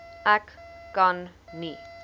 ek kan nie